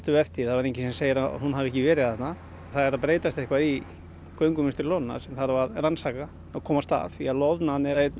vertíð þá er enginn sem segir að hún hafi ekki verið þarna það er að breytast eitthvað í göngumynstri loðnunnar sem þarf að rannsaka og komast að því að loðnan er einn